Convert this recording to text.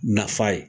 Nafa ye